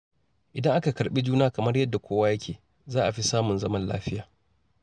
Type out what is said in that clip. Idan aka karɓi juna kamar yadda kowa yake, za a fi samun zaman lafiya.